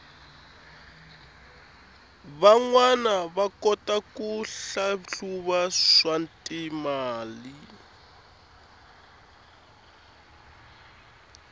vanwana va kota ku hlahluva swatimali